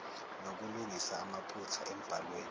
nokulungisa amaphutha embhalweni